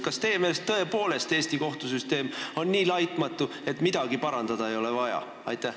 Kas teie meelest tõepoolest Eesti kohtusüsteem on nii laitmatu, et midagi parandada ei ole vaja?